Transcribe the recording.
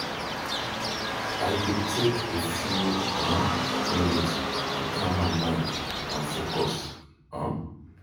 I dey take a few um minutes to calm my mind and focus. um